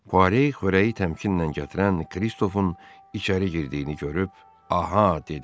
Kistofun içəri girdiyini görüb, “Aha” dedi.